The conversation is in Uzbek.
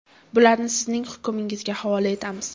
Bularni sizning hukmingizga havola etamiz.